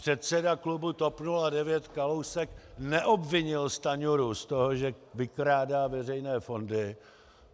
Předseda klubu TOP 09 Kalousek neobvinil Stanjuru z toho, že vykrádá veřejné fondy.